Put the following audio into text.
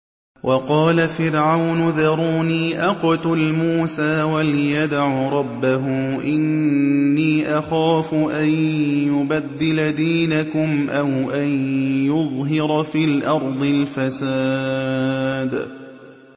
وَقَالَ فِرْعَوْنُ ذَرُونِي أَقْتُلْ مُوسَىٰ وَلْيَدْعُ رَبَّهُ ۖ إِنِّي أَخَافُ أَن يُبَدِّلَ دِينَكُمْ أَوْ أَن يُظْهِرَ فِي الْأَرْضِ الْفَسَادَ